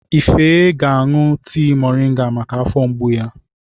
Ife ga-aṅụ tii mọrịnga maka afọ mgbu ya.